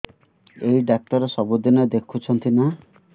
ଏଇ ଡ଼ାକ୍ତର ସବୁଦିନେ ଦେଖୁଛନ୍ତି ନା